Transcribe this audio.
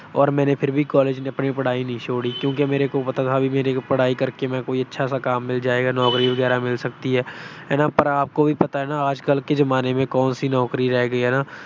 ਔਰ ਮੈਂਨੇ ਫਿਰ ਵੀ ਕਾਲਜ ਕੀ ਅਪਣੀ ਪੜ੍ਹਾਈ ਨਹੀਂ ਛੋੜੀ ਕਿਉਂਕਿ ਮੇਰੇ ਕੋ ਪਤਾ ਥਾ ਮੇਰੀ ਪੜ੍ਹਾਈ ਕਰਕੇ ਮੇਰੇ ਕੋ ਕੋਈ ਅੱਛਾ ਸਾ ਕਾਮ ਮਿਲ ਜਾਏਗਾ, ਨੌਕਰੀ ਵਗੈਰਾ ਵੀ ਮਿਲ ਸਕਤੀ ਹੈ। ਹਨਾ ਆਪਕੋ ਵੀ ਪਤਾ ਹੈ ਆਜ ਕਲ ਕੇ ਜਮਾਨੇ ਮੇਂ ਕੌਣ ਸੀ ਨੌਕਰੀ ਰਹਿ ਗਈ ਹੈ ਹਨਾ।